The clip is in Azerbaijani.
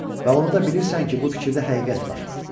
Və onu da bilirsən ki, bu fikirdə həqiqət var.